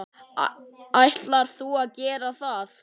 Ætlar þú að gera það?